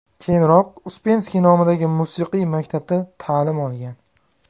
Keyinroq Uspenskiy nomidagi musiqiy maktabda ta’lim olgan.